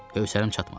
Hövsləm çatmadı.